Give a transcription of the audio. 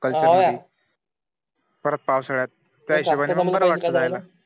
परत पावसाळ्यात